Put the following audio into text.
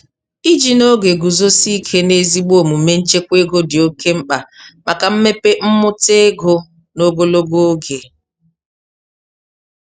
Iji n'oge guzosị ike n'ezigbo omume nchekwa ego dị oke mkpa maka mmepe mmụta ego n'ogologo oge.